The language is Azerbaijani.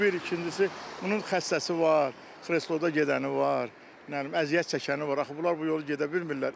Bu bir, ikincisi, bunun xəstəsi var, xrexloda gedəni var, nə bilim əziyyət çəkəni var, axı bunlar bu yolu gedə bilmirlər.